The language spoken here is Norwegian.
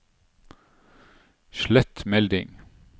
slett melding